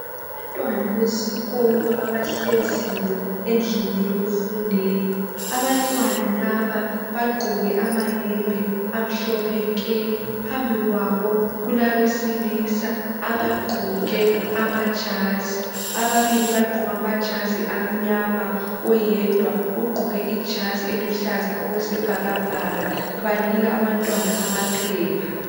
Abantwana besikolo abahleziyo endlini yokufundela. Abantwana laba bagqoke amayembe amhlophe nke. Phambi kwabo kulabesilisa abagqoke amajazi. Ababili bagqoke amajazi amnyama. Oyedwa ugqoke ijazi eluhlaza okwesibhakabhaka. Banika abantwana amaphepha.